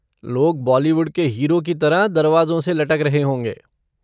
लोग बॉलीवुड के हीरो की तरह दरवाज़ों से लटक रहे होंगे।